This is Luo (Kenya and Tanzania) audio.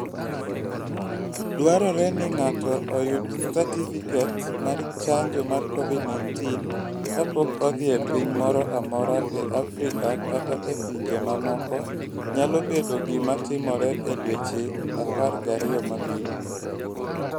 Dwarore ni ng'ato oyud satifiket mar chanjo mar Covid-19 kapok odhi e piny moro amora e Afrika kata e pinje mamoko nyalo bedo gima timore e dweche 12 mabiro.